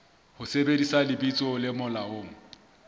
ho sebedisa lebitso le molaong